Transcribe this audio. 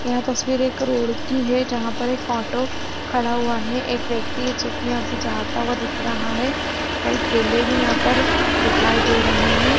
यह तस्वीर एक रोड की है जहाँ पर एक ऑटो खड़ा हुआ है एक व्यक्ति है जो की यहाँ से जाता हुआ दिख रहा है कई ठेले भी यहाँ पर दिखाई दे रहे है।